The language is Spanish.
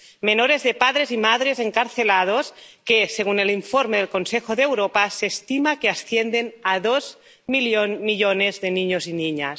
Menores de padres y madres encarcelados que, según el informe del Consejo de Europa, se estima que ascienden a dos millones de niños y niñas.